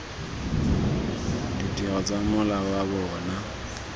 ditiro tsa mola wa bona